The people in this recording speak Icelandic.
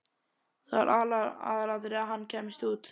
Það var aðalatriðið að HANN kæmist út!